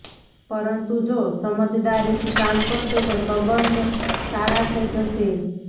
પરંતુ જો સમજદારીથી કામ કરશો તો સંબંધ સારા થઈ જશે